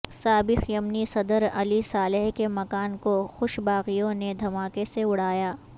سابق یمنی صدر علی صالح کے مکان کو حوثی باغیوں نے دھماکے سے اڑایا